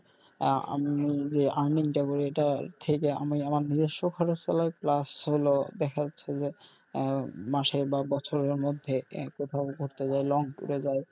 আহ আমি যে earning টা এইটা থেইকা আমার নিজস্ব খরচ চালাই plus হলো দেখা যাচ্ছে যে আহ মাসে বা বছরের মধ্যে কোথাও ঘুরতে যাই long tour এ যাই.